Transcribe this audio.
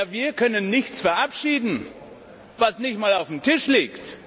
Wir können nichts verabschieden, was nicht einmal auf dem Tisch liegt!